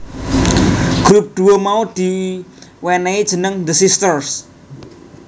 Grup duo mau di wenehi jeneng The Sisters